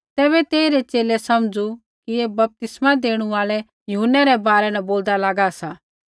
तैबै तेइरै च़ेले समझ़ू कि ऐ बपतिस्मै देणु आल़ै यूहन्नै रै बारै न बोलदा लागा सा